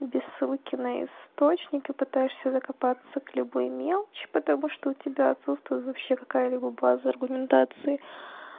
без ссылки на источник и пытаешься закопаться к любой мелочи потому что у тебя отсутствуют вообще какая-либо база аргументации